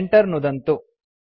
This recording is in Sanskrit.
Enter नुदन्तु